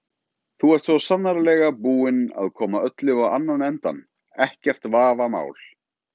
Þú ert svo sannarlega búinn að koma öllu á annan endann, ekkert vafamál.